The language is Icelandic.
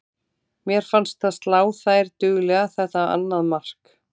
Mér fannst það slá þær duglega þetta annað mark.